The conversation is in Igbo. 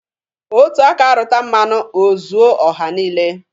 Otu aka rụta mmanụ, o zuo ọha niile.